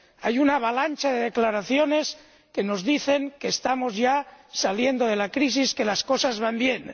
Hay una avalancha de declaraciones que nos dicen que estamos ya saliendo de la crisis, que las cosas van bien.